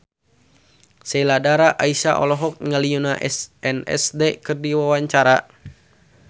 Sheila Dara Aisha olohok ningali Yoona SNSD keur diwawancara